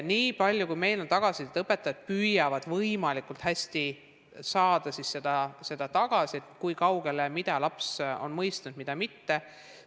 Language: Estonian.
Niipalju kui meil on tagasisidet, siis õpetajad püüavad võimalikult hästi saada teada, mida laps on mõistnud, mida mitte.